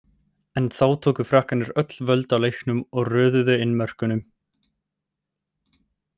En þá tóku Frakkarnir öll völd á leiknum og röðuðu inn mörkum.